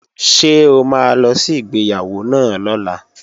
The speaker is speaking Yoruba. Ṣé o máa lọ sí ìgbéyàwó náà lọ́la?